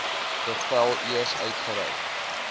bevel eers uitgereik